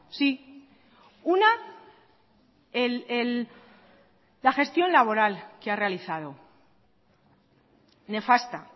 sí una la gestión laboral que ha realizado nefasta